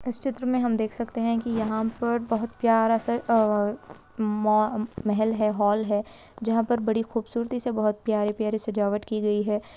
इस चित्र में हम देख सकते हैं की यहाँ पर बहोत प्यारा सा अ-मो महल है हॉल है जहाँ पर बड़ी खुबसुरती से बहोत प्यारी-प्यारी सजावट की गयी है।